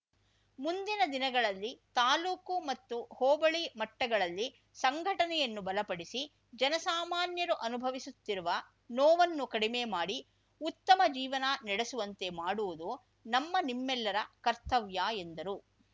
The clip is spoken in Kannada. ಮುಂದಿನ ದಿನಗಳಲ್ಲಿ ತಾಲೂಕು ಮತ್ತು ಹೋಬಳಿ ಮಟ್ಟಗಳಲ್ಲಿ ಸಂಘಟನೆಯನ್ನು ಬಲಪಡಿಸಿ ಜನಸಾಮಾನ್ಯರು ಅನುಭವಿಸುತ್ತಿರುವ ನೋವನ್ನು ಕಡಿಮೆ ಮಾಡಿ ಉತ್ತಮ ಜೀವನ ನಡೆಸುವಂತೆ ಮಾಡುವುದು ನಮ್ಮ ನಿಮ್ಮೆಲ್ಲರ ಕರ್ತವ್ಯ ಎಂದರು